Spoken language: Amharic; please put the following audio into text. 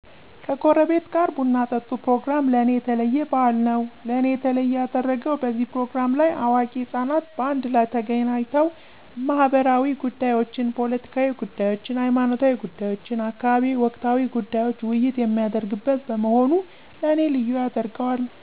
ከጉረቤት ጋር ቡናጠጡ ፕሮግራም ለኔ የተለየባህልነዉ። ለኔ የተለየ ያደረገዉ በዚህ ፕሮግራም ለይ አዋቂ ህጻናት በአንድላይ ተገናኝተዉ መህበራዊጉዳዮችን፣ ፖለቲካዊ ጉደዮችን፣ ሀይማኖታዊጉዳዮችን፣ አካባቢያዊ ወቅታዊ ጉዳዮች ዉይይት የሚደረግበት በመሆኑ ለኔ ልዪ ያደረገዋል